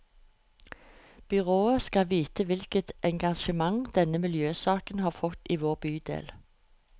Byrådet skal vite hvilket engasjement denne miljøsaken har fått i vår bydel.